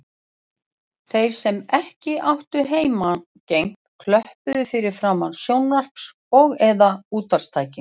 Þeir sem ekki áttu heimangengt klöppuðu fyrir framan sjónvarps- og eða útvarpstækin.